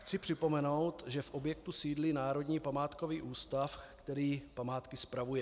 Chci připomenout, že v objektu sídlí Národní památkový ústav, který památky spravuje.